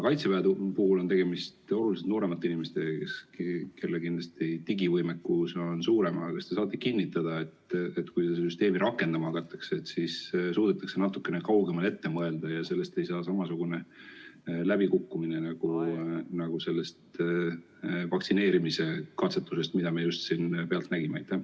Kaitseväe puhul on tegemist oluliselt nooremate inimestega, kellel kindlasti digivõimekus on suurem, aga kas te saate kinnitada, et kui seda süsteemi rakendama hakatakse, siis suudetakse natukene kaugemale ette mõelda ja sellest ei saa samasugune läbikukkumine nagu sellest vaktsineerimise katsetusest, mida me just pealt nägime?